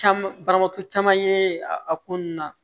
Caman banabaatɔ caman ye a ko nunnu na